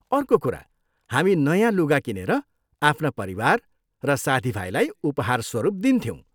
अर्को कुरा, हामी नयाँ लुगा किनेर आफ्ना परिवार र साथीभाइलाई उपहारस्वरूप दिन्थ्यौँ।